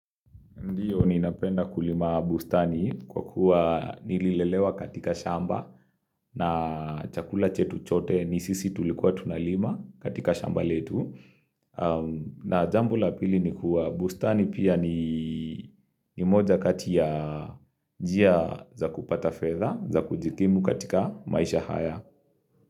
Ndiyo ninapenda kulima bustani kwa kuwa nililelewa katika shamba na chakula chetu chote ni sisi tulikuwa tunalima katika shamba letu. Na jambo la pili ni kuwa bustani pia ni moja kati ya jia za kupata feza za kujikimu katika maisha haya.